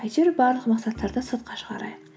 әйтеуір барлық мақсаттарды сыртқа шығарайық